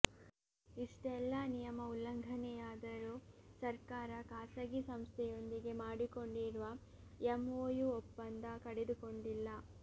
ಇಷ್ಟೆಲ್ಲಾ ನಿಯಮ ಉಲ್ಲಂಘನೆಯಾದರೂ ಸರ್ಕಾರ ಖಾಸಗಿ ಸಂಸ್ಥೆಯೊಂದಿಗೆ ಮಾಡಿಕೊಂಡಿರುವ ಎಂಒಯು ಒಪ್ಪಂದ ಕಡಿದುಕೊಂಡಿಲ್ಲ